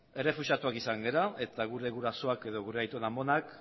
errefuxiatuak izan gara eta gure gurasoak edo gure aitona amonak